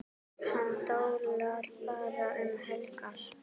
Hann dólar bara um helgar.